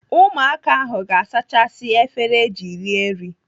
Ụmụaka ahụ ga-azachasị efere eji rie nri.